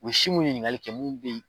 O bɛ si minnu ɲininkali kɛ minnu bɛ yen.